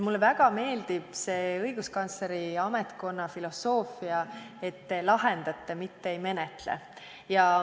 Mulle väga meeldib see õiguskantsleri ametkonna filosoofia, et te lahendate, mitte ei menetle.